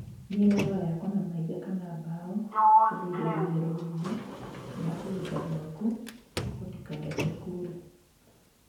Mĩena no yakwo na mahiga kana mbaũ kũgirĩria rũhuho na kũgita gwaku gũtikareke kure